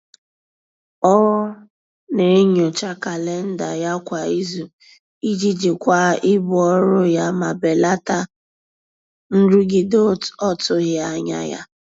Ọ na-enyocha kalenda ya kwa izu iji jikwaa ibu ọrụ ya ma belata nrụgide ọtụghị anya ya.